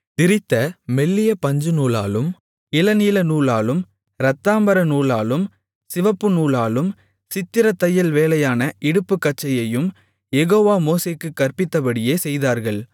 திரித்த மெல்லிய பஞ்சுநூலாலும் இளநீலநூலாலும் இரத்தாம்பரநூலாலும் சிவப்புநூலாலும் சித்திரத் தையல்வேலையான இடுப்புக்கச்சையையும் யெகோவா மோசேக்குக் கற்பித்தபடியே செய்தார்கள்